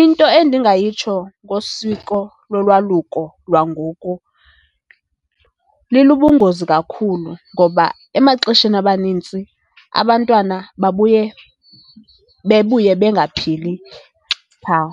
Into endingayitsho ngosiko lolwaluko lwangoku, libubungozi kakhulu ngoba emaxesheni amanintsi abantwana babuye bebuye bengaphili phaa.